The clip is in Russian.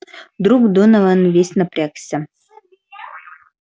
вдруг донован весь напрягся